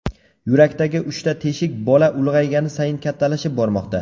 Yurakdagi uchta teshik bola ulg‘aygani sayin kattalashib bormoqda.